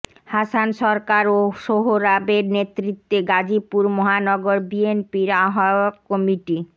হাসান সরকার ও সোহরাবের নেতৃত্বে গাজীপুর মহানগর বিএনপির আহ্বায়ক কমিটি